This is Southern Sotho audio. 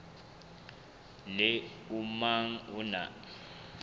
le o mong o na